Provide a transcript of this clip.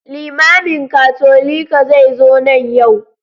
Limamin Katolika zai zo nan yau.